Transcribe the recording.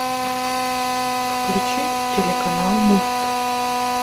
включи телеканал мульт